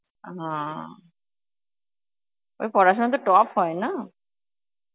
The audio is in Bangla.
হা ওই পড়াশোনায় তো top হয় না?